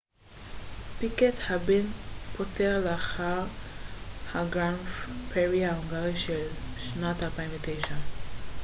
פיקט הבן פוטר לאחר הגרנד פרי ההונגרי של שנת 2009